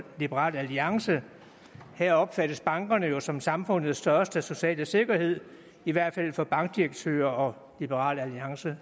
liberal alliance her opfattes bankerne jo som samfundets største sociale sikkerhed i hvert fald for bankdirektører og liberal alliance